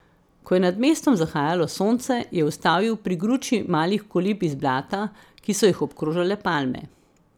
Ko je nad mestom zahajalo sonce, je ustavil pri gruči malih kolib iz blata, ki so jih obkrožale palme.